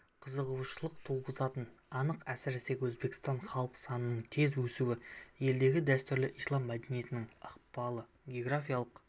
қызығушылық туғызатыны анық әсіресе өзбекстанда халық санының тез өсуі елдегі дәстүрлі ислам мәдениетінің ықпалы географиялық